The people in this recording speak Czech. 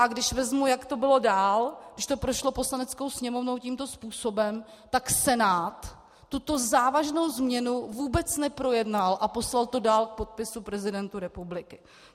A když vezmu, jak to bylo dál, když to prošlo Poslaneckou sněmovnou tímto způsobem, tak Senát tuto závažnou změnu vůbec neprojednal a poslal to dál k podpisu prezidentu republiky.